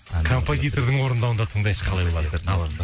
композитордың орындауында тыңдайыншы қалай болар екен ал орында